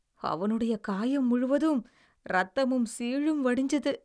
அவனுடைய காயம் முழுவதும் இரத்தமும் சீழும் வடிஞ்சது.